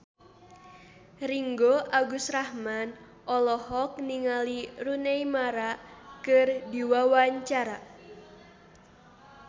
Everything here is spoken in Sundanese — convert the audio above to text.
Ringgo Agus Rahman olohok ningali Rooney Mara keur diwawancara